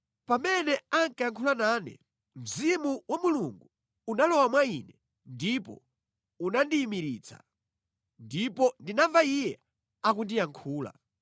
Pamene ankayankhula nane, Mzimu wa Mulungu unalowa mwa ine ndipo unandiyimiritsa, ndipo ndinamva Iye akundiyankhula.